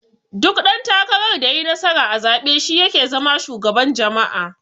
Duk dan takarar da yayi nasara a zabe shi yake zama shugaban jama'a.